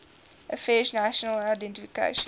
affairs national identification